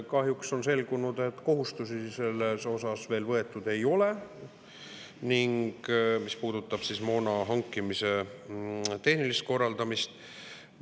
Kahjuks on selgunud, et kohustusi veel võetud ei ole, mis puudutab moona hankimise tehnilist korraldamist.